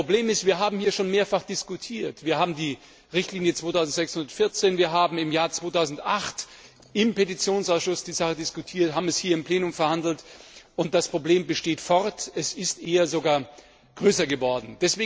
Das Problem ist, wir haben hier schon mehrfach darüber diskutiert, wir haben die Richtlinie 2614, wir haben im Jahr 2008 im Petitionsausschuss die Sache diskutiert und haben sie hier im Plenum verhandelt, und das Problem besteht fort, es ist eher sogar größer geworden.